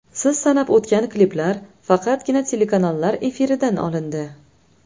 Siz sanab o‘tgan kliplar faqatgina telekanallar efiridan olindi.